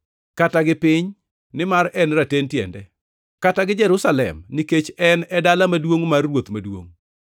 kata gi piny, nimar en e raten tiende; kata gi Jerusalem, nikech en e dala maduongʼ mar Ruoth Maduongʼ.